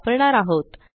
वापरणार आहोत